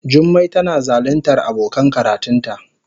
Jummai tana zaluntar abokan karatunta.